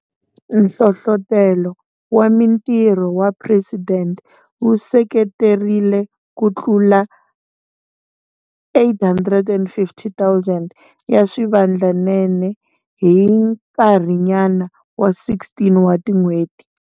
Nhlohlotelo wa Mitirho wa Presidente wu seketerile kutlula 850 000 ya swivandlanene hi nkarhinyana wa 16 wa tin'hweti.